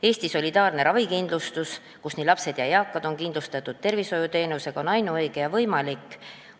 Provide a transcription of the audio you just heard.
Eesti solidaarne ravikindlustus, mille abil on nii lapsed kui ka eakad kindlustatud tervishoiuteenusega, on ainuõige ja võimalik.